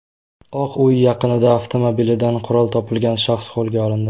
Oq uy yaqinida avtomobilidan qurol topilgan shaxs qo‘lga olindi.